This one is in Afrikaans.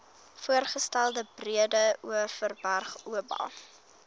voorgestelde breedeoverberg oba